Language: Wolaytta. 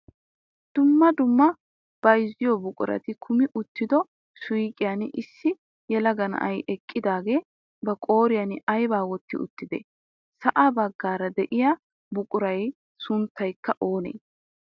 Dumma dumma bayzziyoo buqurati kummi uttido suyqiyaan issi yelaga na'ay eqqidaagee ba qooriyaan aybaa wotti uttidee? Sa'aa baggaara de'iyaa buquraa sunttaykka oonee?